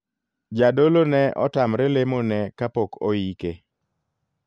Jadolo ne otamre lemo ne kapok oike.